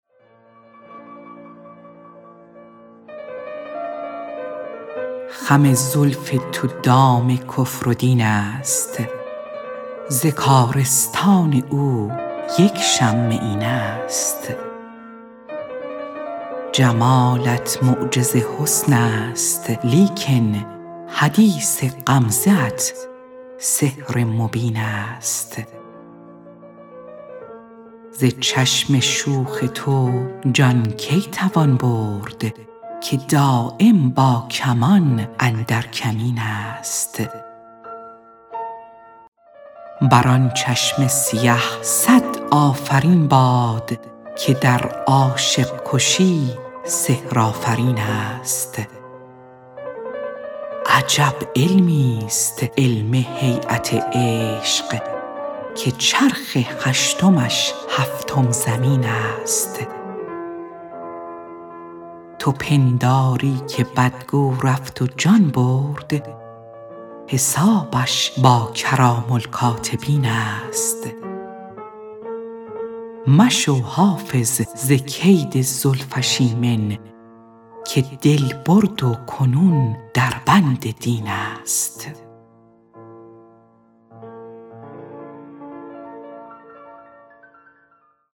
خم زلف تو دام کفر و دین است ز کارستان او یک شمه این است جمالت معجز حسن است لیکن حدیث غمزه ات سحر مبین است ز چشم شوخ تو جان کی توان برد که دایم با کمان اندر کمین است بر آن چشم سیه صد آفرین باد که در عاشق کشی سحرآفرین است عجب علمیست علم هییت عشق که چرخ هشتمش هفتم زمین است تو پنداری که بدگو رفت و جان برد حسابش با کرام الکاتبین است مشو حافظ ز کید زلفش ایمن که دل برد و کنون در بند دین است